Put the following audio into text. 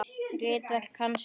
Ritverk hans eru